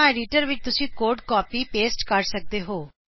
ਜਾਂ ਐਡੀਟਰ ਵਿੱਚ ਤੁਸੀਂ ਕੋਡ ਕਾਪੀਪੇਸਟ ਕਰ ਸਕਦੇ ਹੋਂ